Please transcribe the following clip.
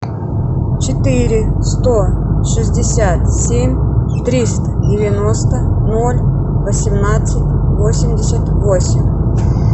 четыре сто шестьдесят семь триста девяносто ноль восемнадцать восемьдесят восемь